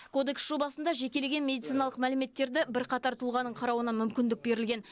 кодекс жобасында жекелеген медициналық мәліметтерді бірқатар тұлғаның қарауына мүмкіндік берілген